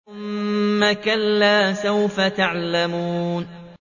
ثُمَّ كَلَّا سَوْفَ تَعْلَمُونَ